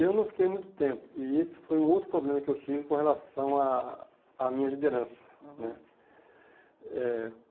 Eu não fiquei muito tempo, e esse foi um outro problema que eu tinha com relação à à minha liderança, né. Uhum